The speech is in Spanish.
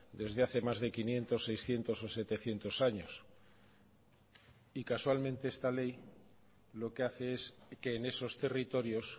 desde hace más de quinientos seiscientos o setecientos años y casualmente esta ley lo que hace es que en esos territorios